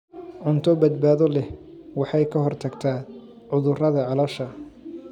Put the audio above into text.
Cunto badbaado leh waxay ka hortagtaa cudurrada caloosha.